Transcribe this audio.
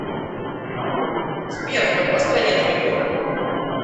сбер в какой стране твой дом